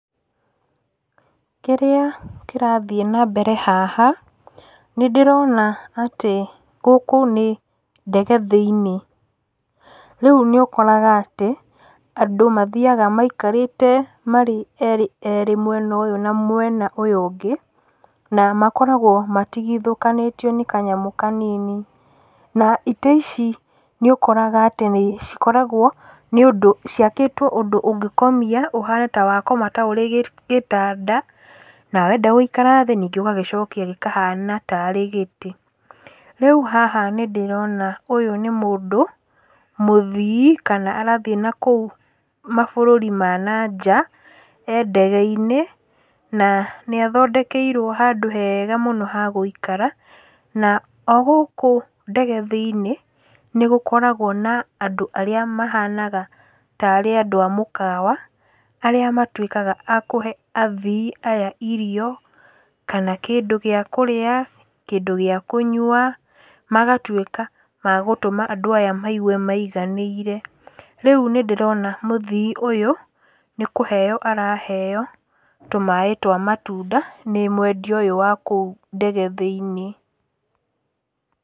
Kĩrĩa, kĩrathiĩ nambere haha, nĩndĩrona atĩ, gũkũ nĩ ndege thĩ-inĩ, rĩu nĩũkoraga atĩ, andũ mathiaga maikarĩte marĩ erĩ erĩ mwena ũyũ na mwena ũyũ ũngĩ, na makoragwo matigithũkanĩtio nĩ kanyamũ kanini, na itĩ ici nĩũkoraga atĩ nĩũndũ, cikoragwo ciakĩtwo ũndũ ũngĩkomia, ũhane ta wakoma ta ũrĩ gĩtanda, na wenda gũikara thĩ, ningĩ ũgagĩcokia gĩkahana tarĩ gĩtĩ, rĩu haha nĩndĩrona ũyũ nĩ mũndũ, mũthii, kana arathi nakũu mabũrũri ma nanja, e ndege-inĩ, na nĩathondekeirwo handũ hega mũno ha gũikara, na, o gũkũ ndege thĩ-inĩ, nĩgũkoragwo na andũ arĩa mahanaga, tarĩ andũ a mũkawa, arĩa matwĩkaga andũ a kũhe athii aya irio, kana kĩndũ gĩa kũrĩa, kĩndũ gĩa kũnyua, magatwĩka a gũtũma andũ aya maigue maiganĩire. Rĩu nĩndĩrona mũthi ũyũ, nĩkũheo araheo, tũ maĩ twa matunda, nĩ mwendia ũyũ wa kũu ndege thĩ-inĩ.